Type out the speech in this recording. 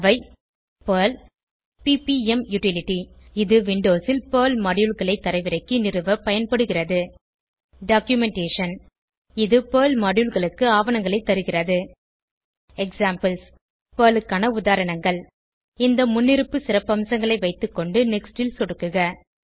அவை Perl PPM utility இது விண்டோஸில் பெர்ல் Moduleகளை தரவிறக்கி நிறுவப் பயன்படுகிறது டாக்குமென்டேஷன் இது பெர்ல் Moduleகளுக்கு ஆவணங்களைத் தருகிறது எக்ஸாம்பிள்ஸ் பெர்ல் க்கான உதாரணங்கள் இந்த முன்னிருப்பு சிறப்பம்சங்களை வைத்துக்கொண்டு நெக்ஸ்ட் ல் சொடுக்குக